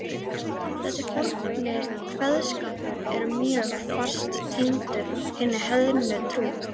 Þessi forni kveðskapur er mjög fast tengdur hinni heiðnu trú.